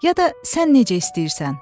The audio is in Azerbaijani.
Ya da sən necə istəyirsən.